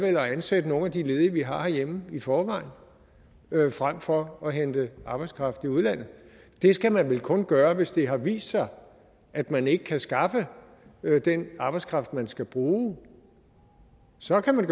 ansætte nogle af de ledige vi har herhjemme i forvejen frem for at hente arbejdskraft i udlandet det skal man vel kun gøre hvis det har vist sig at man ikke kan skaffe den arbejdskraft man skal bruge så kan man